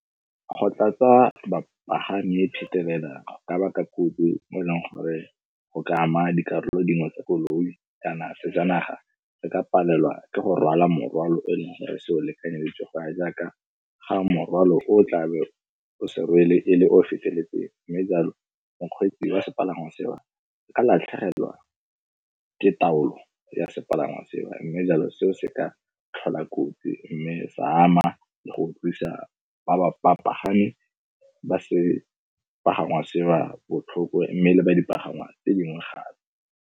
Go tlatsa bapagami phetelela go ka baka mo e leng gore go ka ama dikarolo dingwe tsa koloi kana sejanaga. Re ka palelwa ke go rwala morwalo o e leng gore seo lekanyeditswe go ya jaaka ga morwalo o tlabe o se rwele e le o feteletseng. Mme jalo mokgweetsi wa sepalangwa seo, a ka latlhegelwa ke taolo ya sepalangwa seo. Mme jalo seo se ka tlhola kotsi mme sa ama le go utlwisa ba bapagami ba sepagangwa sewa botlhoko mme le ba dipalangwa tse dingwe .